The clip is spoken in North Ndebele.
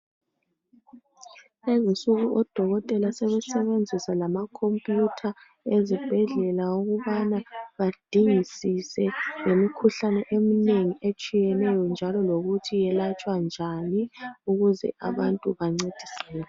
Lezinsuku odokotela sebesebenzisa lamakhompiyutha ezibhedlela ukubana badingisise ngemikhuhlane eminengi etshiyeneyo njalo lokuthi yelatshwa njani ukuze abantu bancediseke.